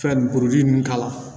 Fɛn kuruli nunnu k'a la